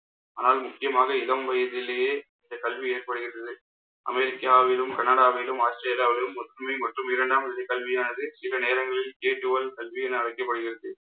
ஆனால், முக்கியமாக இளம் வயதிலேயே இந்த கல்வி ஏற்படுகிறது. அமெரிக்காவிலும் கனடாவிலும், ஆஸ்திரேலியாவிலும் ஒற்றுமை மற்றும் இரண்டாம் நிலை கல்வியானது, சில நேரங்களில் என அழைக்கப்படுகிறது.